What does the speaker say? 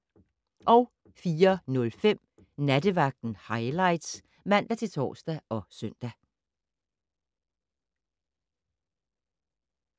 04:05: Nattevagten Highlights (man-tor og søn)